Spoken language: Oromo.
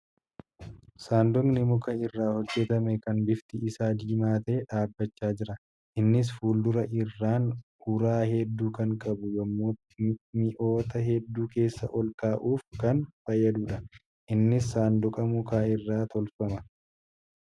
Sanduuqni muka irraa hojjatame kan bifti isaa diimaa ta'e dhaabbachaa jira. Innis fuuldura irraan uraa hedduu kan qabu yemmuu mi'oota hedduu keessa ol kaa'uuf kan fayyaduudha. Innis saanqaa mukaa irraa tolfama.